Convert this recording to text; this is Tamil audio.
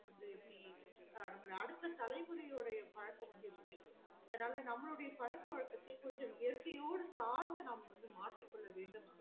வந்து இப்டி அடுத்த தலைமுறையுனுடைய பழக்கம் வந்து இப்டி இருக்கு ஆவது நம்மளுடைய பழக்க வழக்காத்த கொஞ்சம் வந்து இயற்கையோட சார்ந்து நம் மாற்றி கொள்ள வேண்டும்